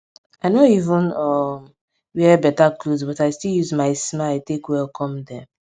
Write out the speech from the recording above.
i nor even um wear beta cloth but i still use my smile take welcome dem